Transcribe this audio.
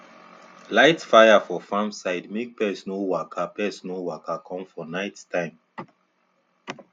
light fire for farm side make pest no waka pest no waka come for night time